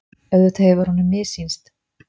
Auðvitað hefur honum missýnst.